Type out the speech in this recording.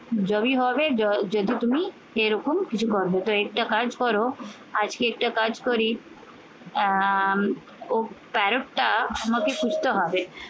জমি হবে যদি তুমি এরকম কিছু করবে তো একটা কাজ করো আজকে একটা কাজ করি আহ ও parrot টা আমাকে সুস্থ হবে।